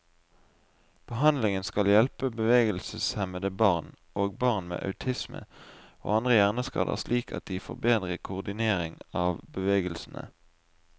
Behandlingen skal hjelpe bevegelseshemmede barn, og barn med autisme og andre hjerneskader slik at de får bedre koordinering av bevegelsene.